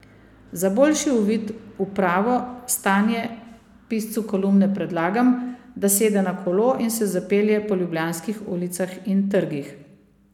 Za boljši uvid v pravo stanje piscu kolumne predlagam, da sede na kolo in se zapelje po ljubljanskih ulicah in trgih.